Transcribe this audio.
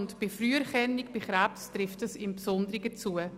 Bei der Früherkennung von Krebs trifft dies im Besonderen zu.